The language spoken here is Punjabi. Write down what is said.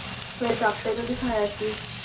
ਫਿਰ doctor ਨੂੰ ਦਿਖਾਇਆ ਸੀ।